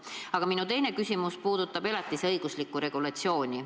Aga minu teine küsimus puudutab elatisabi käsitlevat regulatsiooni.